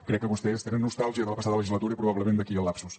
crec que vostès tenen nostàlgia de la passada legislatura i probablement d’aquí el lapsus